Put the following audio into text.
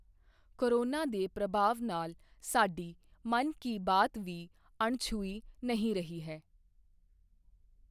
Corona ਦੇ ਪ੍ਰਭਾਵ ਨਾਲ ਸਾਡੀ ਮਨ ਕੀ ਬਾਤ ਵੀ ਅਣਛੂਹੀ ਨਹੀਂ ਰਹੀ ਹੈ।